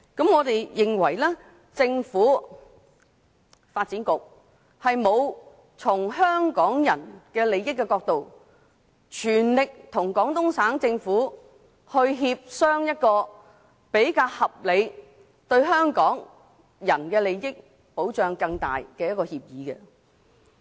我們認為政府和發展局並沒有從香港人的利益出發，全力與廣東省政府協商出一個較合理，以及為香港人利益提供更大保障的供水協議。